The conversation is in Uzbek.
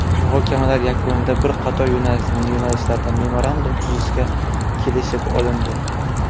Muhokamalar yakunida bir qator yo‘nalishlarda memorandum tuzishga kelishib olindi.